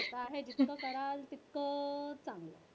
काय हे जितकं कराल तितकं चांगलं.